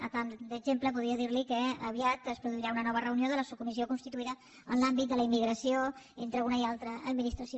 a tall d’exemple podria dir li que aviat es produirà una nova reunió de la subcomissió constituïda en l’àmbit de la immigració entre una i altra administració